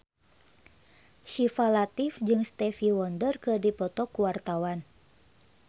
Syifa Latief jeung Stevie Wonder keur dipoto ku wartawan